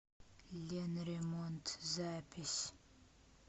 ленремонт запись